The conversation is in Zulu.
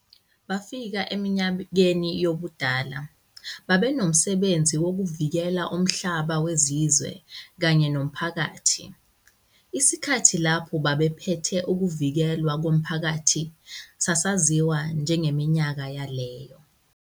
bafika eminyakeni yobudala, babenomsebenzi wokuvikela umhlaba wezizwe kanye nomphakathi, isikhathi lapho babephethe ukuvikelwa komphakathi sasaziwa njengeminyaka yaleyo.